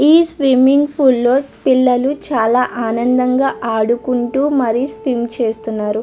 ఈ swimming pool లో పిల్లలు చాలా ఆనందంగా ఆడుకుంటూ మరి స్క్రీన్ చేస్తున్నారు.